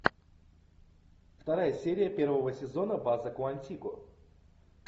вторая серия первого сезона база куантико